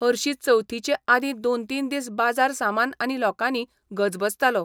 हरशी चवथीचे आदीं दोन तीन दीस बाजार सामान आनी लोकांनी गजबजतालो.